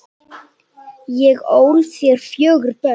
Ég ól þér fjögur börn.